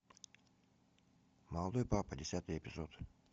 молодой папа десятый эпизод